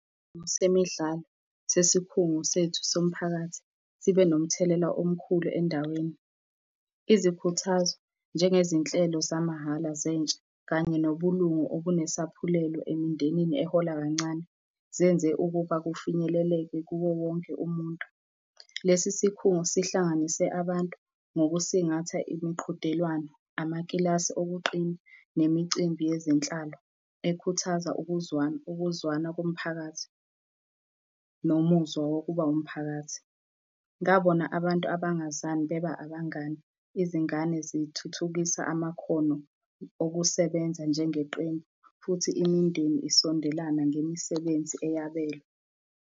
Semidlalo sesikhungo sethu somphakathi sibe nomthelela omkhulu endaweni. Izikhuthazo, njengezinhlelo zamahhala zentsha, kanye nobulungu obunesaphulelo emindenini ehola kancane, zenze ukuba kufinyeleleke kuwo wonke umuntu. Lesi sikhungo sihlanganise abantu ngokusingatha imiqhudelwano, amakilasi okuqina, nemicimbi yezinhlalo, ekhuthaza ukuzwana ukuzwana komphakathi nomuzwa wokuba umphakathi. Ngabona abantu abangazani beba abangani, izingane zithuthukisa amakhono okusebenza njengeqembu futhi imindeni isondelana ngemisebenzi eyabelwe.